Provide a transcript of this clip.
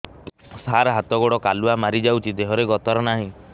ସାର ହାତ ଗୋଡ଼ କାଲୁଆ ମାରି ଯାଉଛି ଦେହର ଗତର ନାହିଁ